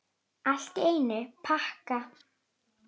Allt í einum pakka!